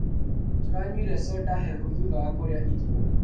Tũranyuire conda hehu thutha wa kũrĩa iro.